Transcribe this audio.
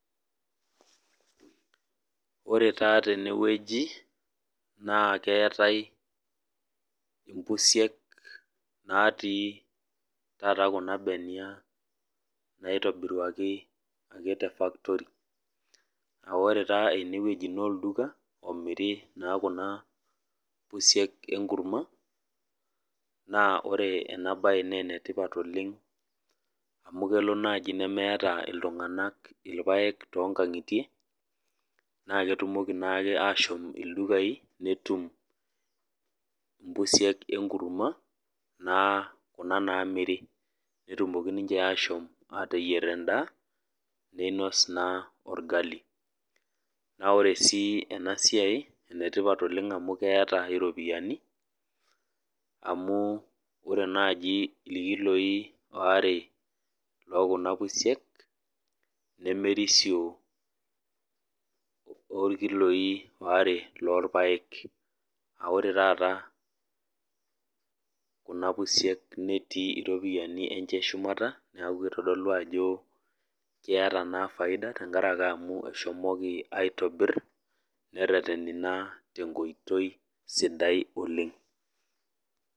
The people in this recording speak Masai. Ore taa tene weji naa keetae mpusiek natii taata kuna benia naitobiruaki tefactory. Ore taa eneweji naa olduka omiri naa kuna pusiek enkurma naa ore ena bae naa enetipat oleng, amu kelo naaji nemeeta iltunganak irpaek toonkangitie naa ketumoki naake ashom ildukai netum mpusiek enkurma naa Kuna namiri. Netumoki ninche asho ateyier endaa ninos naa orgali. Naa ore sii ena siai enetipat oleng amu keeta iropiyiani, amu ore naaji irkiloi waare lookuna pusiek nemerisio orkiloi waare lorpaek. Ore taata kuna pusiek netii ripoyiani enche shumata neeku kitodolu naa ajo keeta faida tenkaraki amu eshomoki aitobir nereteni naa tenkoitoi sidai oleng.